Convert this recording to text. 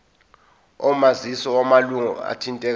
omazisi wamalunga athintekayo